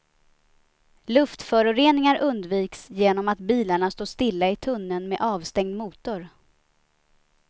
Luftföroreningar undviks genom att bilarna står stilla i tunneln med avstängd motor.